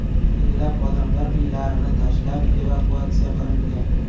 Minglab odamlar uylarini tashlab, evakuatsiya qilingan.